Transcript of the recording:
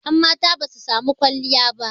yanmata ba su samii kwalliya